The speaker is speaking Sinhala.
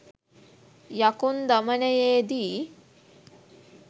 යකුන් දමනයේදී